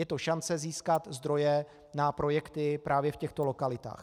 Je to šance získat zdroje na projekty právě v těchto lokalitách.